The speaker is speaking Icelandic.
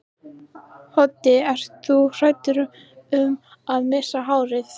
Hödd: Ert þú hræddur um að missa hárið?